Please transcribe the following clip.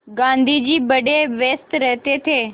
गाँधी जी बड़े व्यस्त रहते थे